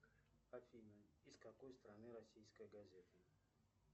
афина из какой страны российская газета